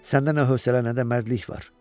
Səndə nə hövsələ nə də mərdlik var.